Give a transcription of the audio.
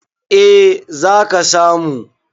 eh za ka samu